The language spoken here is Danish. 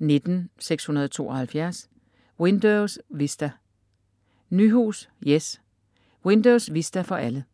19.672 Windows Vista Nyhus, Jes: Windows Vista for alle